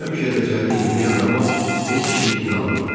Həmişə dəcəllik eləyən Rama heç kim inanmadı.